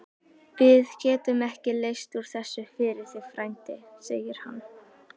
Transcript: Við getum ekki leyst úr þessu fyrir þig, frændi segir hann.